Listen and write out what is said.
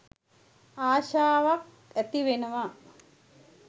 ආසාවක් ඇතිවෙනවා.